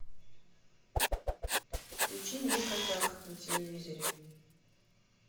включи мне казах на телевизоре